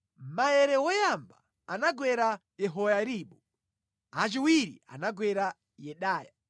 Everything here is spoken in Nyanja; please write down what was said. Maere woyamba anagwera Yehoyaribu, achiwiri anagwera Yedaya,